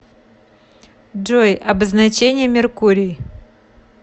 джой обозначение меркурий